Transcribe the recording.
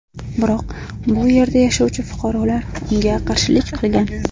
Biroq bu yerda yashovchi fuqarolar unga qarshilik qilgan.